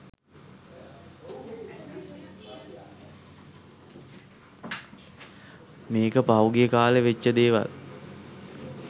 මේක පහුගිය කා‍ලේ වෙච්ච දේවල්